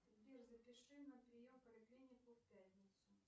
сбер запиши на прием в поликлинику в пятницу